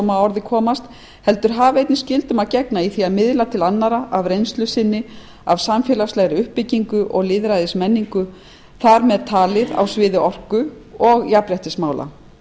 orði komast heldur hafi einnig skyldum að gegna í því að miðla til annarra af reynslu sinni af samfélagslegri uppbygginu og lýðræðismenningu þar með talið á sviði orku og jafnréttismála